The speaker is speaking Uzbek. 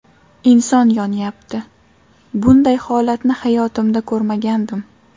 Inson yonyapti, bunday holatni hayotimda ko‘rmagandim.